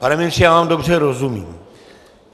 Pane ministře, já vám dobře rozumím.